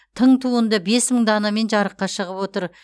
тың туынды бес мың данамен жарыққа шығып отыр